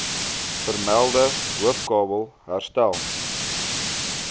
vermelde hoofkabel herstel